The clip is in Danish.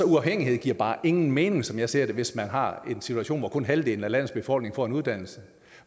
uafhængighed giver bare ingen mening som jeg ser det hvis man har en situation hvor kun halvdelen af landets befolkning får en uddannelse